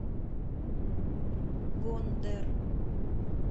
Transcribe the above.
гондэр